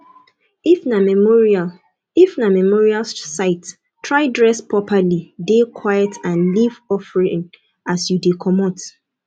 if na memorial if na memorial site try dress properly de quite and leave offering as you de comot